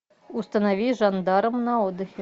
установи жандарм на отдыхе